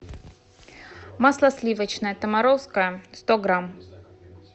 масло сливочное томаровское сто грамм